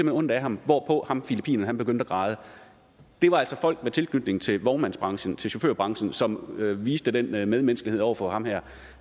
har ondt af ham hvorpå ham filippineren så begyndte at græde det var altså folk med tilknytning til vognmandsbranchen til chaufførbranchen som viste den medmenneskelighed over for ham her